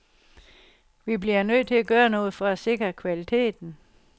Vi bliver nødt til at gøre noget for at sikre kvaliteten.